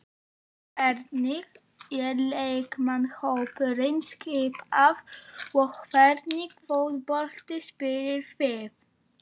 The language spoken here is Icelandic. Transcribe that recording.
Hvernig er leikmannahópurinn skipaður og hvernig fótbolta spilið þið?